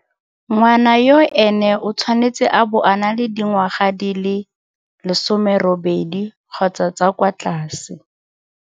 Ngwana yoo ene o tshwanetse a bo a na le dingwaga di le 18 kgotsa tsa kwa tlase.